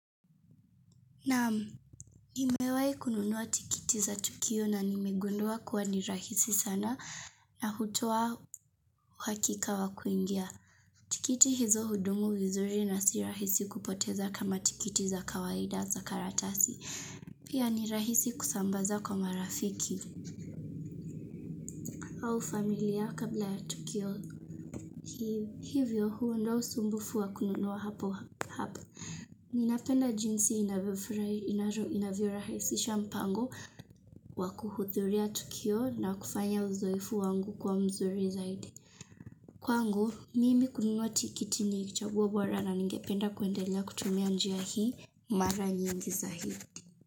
Nimewai kununua tikiti za Tokio na nimegundua kuwa ni rahisi sana na hutoa uhakika wa kuingia. Tikiti hizo hudumu vizuri na si rahisi kupoteza kama tikiti za kawaida za karatasi. Pia ni rahisi kusambaza kwa marafiki au familia kabla ya tukio. Hivyo huo ndo usumbufu wa kununua hapo hapo. Ninapenda jinsi inavyo rahisisha mpango wa kuhudhuria tukio na kufanya uzoefu wangu kuwa mzuri zaidi. Kwangu, mimi kunuwa tikiti ni chaguo bora na ningependa kuendelea kutumia njia hii mara nyingi zaidi.